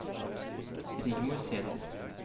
Rigmor Sæther